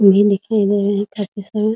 दिखाई दे रहा है काफी सारा --